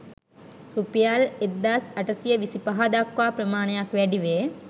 රුපියල් 1825 දක්වා ප්‍රමාණයක් වැඩිවේ.